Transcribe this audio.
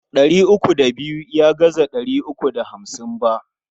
Ɗari uku da biyu ya gaza ɗari uku da hamsin ba.